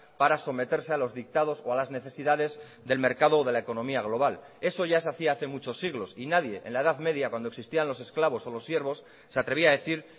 para someterse a los dictados o a las necesidades del mercado de la economía global eso ya se hacía hace muchos siglos y nadie en la edad media cuando existían los esclavos o los siervos se atrevía a decir